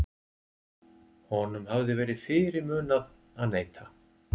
Honum hafði verið fyrirmunað að neita.